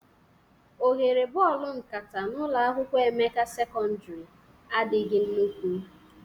Oghere bọọlụ nkata n'ụlọ akwụkwọ Emeka sekọndrị adịghị nnukwu